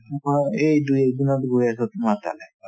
এই দুই এক দিনত গৈ আছো তোমাৰ তাতে